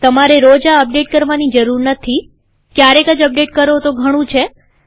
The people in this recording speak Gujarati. તમારે રોજ આ અપડેટ કરવાની જરૂર નથીક્યારેક જ અપડેટ કરો તો ઘણું છે